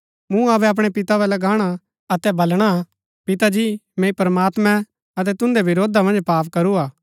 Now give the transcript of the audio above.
मुँ अबै अपणै पितै बल्लै गाणा अतै बलणा पिता जी मैंई प्रमात्मैं अतै तुन्दै विरोधा मन्ज पाप करूरा हा